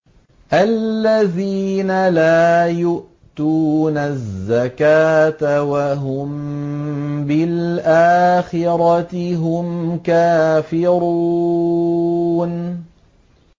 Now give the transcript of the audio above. الَّذِينَ لَا يُؤْتُونَ الزَّكَاةَ وَهُم بِالْآخِرَةِ هُمْ كَافِرُونَ